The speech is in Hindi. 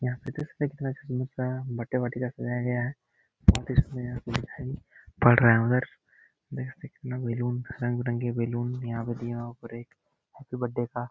यहाँ पे देख सकते हैं कितना बर्थडे पार्टी का सजाया गया है बहुत इसमें यहाँ पे दिखाई पड़ रहा है उधर देख सकते हैं कितना बैलून रंग-बिरंगे बैलून यहाँ पर दिया और ऊपर एक हैप्पी बर्थडे का --